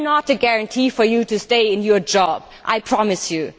They are not a guarantee for you to stay in your job, I promise you.